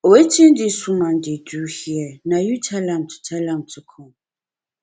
wetin dis woman dey do here na you tell am to tell am to come